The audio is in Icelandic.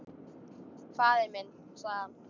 Faðir minn, sagði hann.